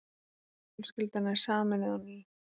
Fjölskyldan er sameinuð á ný.